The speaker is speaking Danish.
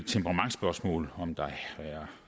temperamentsspørgsmål om der er